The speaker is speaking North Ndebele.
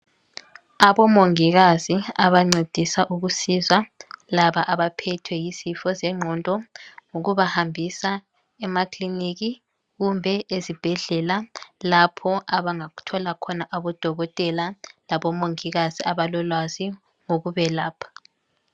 Abomongikazi abancedisa ukusiza labo abaphethwe yizifo zengqondo, ngokubahambisa emakiliniki kumbe ezibhedlela lapho abangathola khona abodokotela labomongikazi abalolwazi lokubelapha.